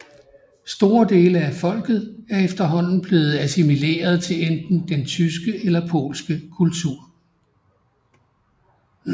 Store dele af folket er efterhånden blevet assimileret til enten den tyske eller polske kultur